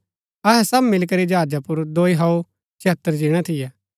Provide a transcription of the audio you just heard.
अहै सब मिलीकरी जहाजा पुर दोई हौअ छयतर जिणै थियै